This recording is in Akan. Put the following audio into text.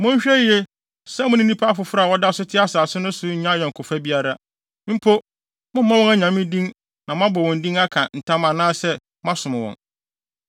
Monhwɛ yiye sɛ mo ne nnipa foforo a wɔda so te asase no so no nnya ayɔnkofa biara. Mpo, mommmɔ wɔn anyame din na moabɔ wɔn din aka ntam anaasɛ moasom wɔn.